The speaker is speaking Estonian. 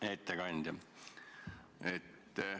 Hea ettekandja!